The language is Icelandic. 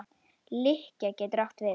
Lykkja getur átt við